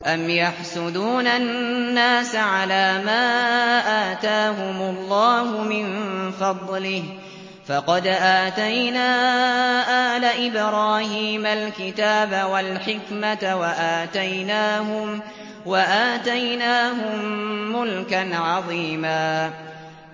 أَمْ يَحْسُدُونَ النَّاسَ عَلَىٰ مَا آتَاهُمُ اللَّهُ مِن فَضْلِهِ ۖ فَقَدْ آتَيْنَا آلَ إِبْرَاهِيمَ الْكِتَابَ وَالْحِكْمَةَ وَآتَيْنَاهُم مُّلْكًا عَظِيمًا